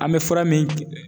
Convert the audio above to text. An bɛ fura min